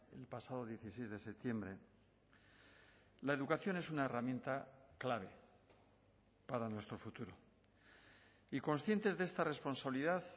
el pasado dieciséis de septiembre la educación es una herramienta clave para nuestro futuro y conscientes de esta responsabilidad